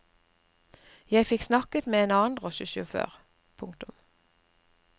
Jeg fikk snakket med en annen drosjesjåfør. punktum